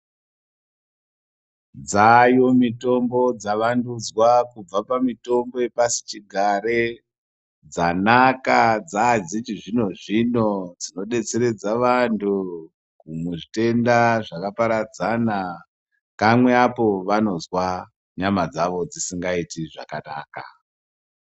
Dzaayo mitombo dzavandudzwa kubva pamitombo yepasi chigare dzanaka dzadzechizvinozvino dzinodetseredza vanhu muzvitenda zvakaparadzana kamwe apo vanozwa nyama dzawo dzisingaiti zvakanaka.